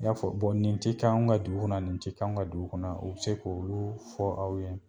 I y'a fɔ nin tɛ k'anw ka dugu kɔnɔ nin tɛ k'anw ka dugu kɔnɔ u bɛ se k'olu fɔ aw ye